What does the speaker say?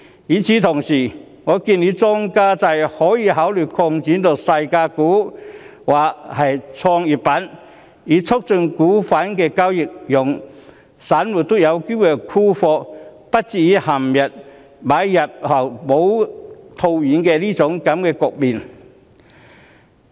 與此同時，我建議當局可以考慮將莊家制擴展至細價股或創業板，以促進股份的交易，讓散戶也有機會沽貨，而不至於陷入買入後未能套現的局面。